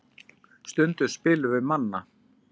Stundum spilum við Manna.